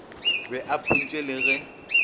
be a phuntšwe e le